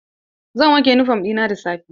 Zan wanke yunifom ɗina da safe.